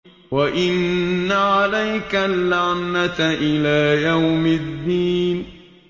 وَإِنَّ عَلَيْكَ اللَّعْنَةَ إِلَىٰ يَوْمِ الدِّينِ